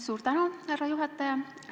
Suur tänu, härra juhataja!